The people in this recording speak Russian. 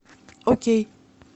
окей